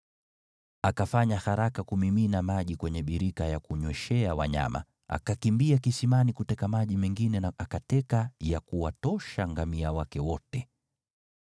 Akafanya haraka kumimina maji kwenye birika ya kunyweshea wanyama, akakimbia kisimani kuteka maji mengine na akateka ya kuwatosha ngamia wake wote.